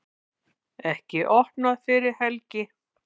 Ekki opnað fyrir helgi